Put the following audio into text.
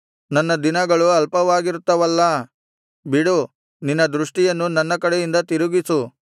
ನನ್ನ ದಿನಗಳು ಅಲ್ಪವಾಗಿರುತ್ತವಲ್ಲಾ ಬಿಡು ನಿನ್ನ ದೃಷ್ಟಿಯನ್ನು ನನ್ನ ಕಡೆಯಿಂದ ತಿರುಗಿಸು